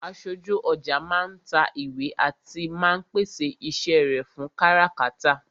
Aṣojú ọjà máa ń ta ìwé àti máa ń pèsè iṣẹ́ rẹ fún káràkátà